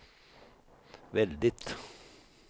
väldigt